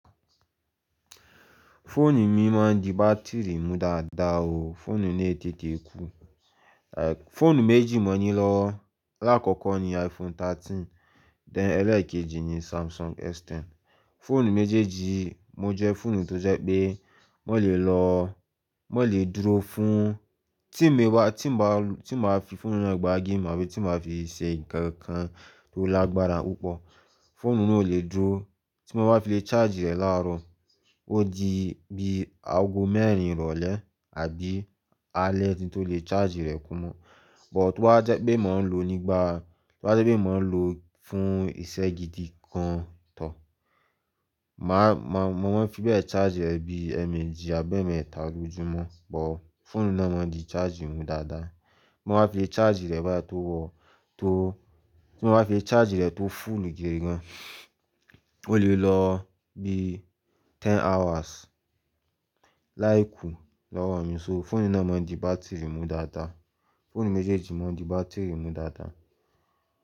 Fóònù mi máa ń di bátìrì mú dáadáa o. Fóònù náà è tètè é kú. Fóònù méjì mo ní lọ́wọ́, alàkọ́kọ́ ni iPhone 13, then ẹlẹ́ẹ̀kejì ni Samsung S10. Fóònù méjèèjì yíì mo jẹ́ fóònù tó jẹ́ pé mo lè lọ, mo lè dúró fún, tí mo bá, tí mo bá, tí mo bá fi fóònù náà gbá game àbí tí mo bá fi ṣe nǹkan tó lágbára púpọ̀, fóònù náà ò lè dúró tí mo bá fi lè charge ẹ̀ láàárọ̀. Ó di bí aago mẹ́rin ìrọ̀lẹ́ àbí alẹ́ tí tó lè charge rẹ̀ kún mo. But tó bá wá jẹ́ pé mò ń lò nígbà, tó bá jẹ́ pé mò ń lò fún ìṣe gidi gan tọ, màá, màá, mo máa ń fi bẹ charge rẹ̀ bí ẹẹ̀mẹ́jì àbí ẹẹ̀mẹ́ta lójúmọ́. But fóònù náà máa ń di charge mú dáadáa. Tí mo bá fi charge rẹ̀ báyìí tó wọ, tó, tí mo bá fi charge rẹ̀ tó full gidi gan, ó lè lọ bí ten hours láì kú lọ́wọ́ mi. So phone náà máa ń di battery mú dáadáa. Fóònù méjèèjì máa ń di battery mú dáadáa.